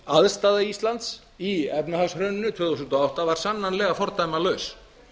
aðstaða íslands í efnahagshruninu tvö þúsund og átta var sannarlega fordæmalaus